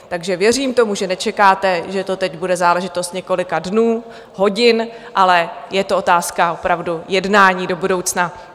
Takže věřím tomu, že nečekáte, že to teď bude záležitost několika dnů, hodin, ale je to otázka opravdu jednání do budoucna.